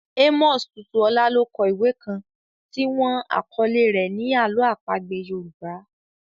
Amos Tutuola ló kọ ìwé kan tí wọ́n àkọ́lé rẹ̀ ni Àlọ́ àpagbé Yorùbá.